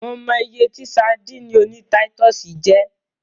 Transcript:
Mo mọ iye tí sadíìnì oní táítọ̀sì jẹ́.